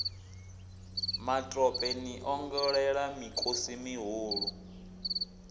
matope ni ongolela mikosi mihulu